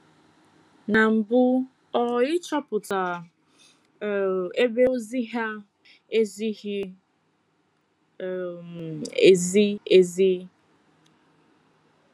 Na mbụ, ọ ịchọpụta um ebe ozi ha - um ezighị um ezi ezi.